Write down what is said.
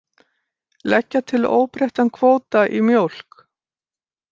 Leggja til óbreyttan kvóta í mjólk